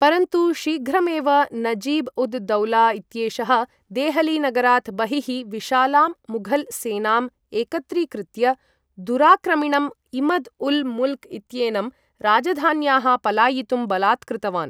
परन्तु शीघ्रमेव, नजीब् उद् दौला इत्येषः देहली नगरात् बहिः विशालां मुघल् सेनाम् एकत्रीकृत्य, दुराक्रमिणम् इमद् उल् मुल्क् इत्येनं राजधान्याः पलायितुं बलात्कृतवान्।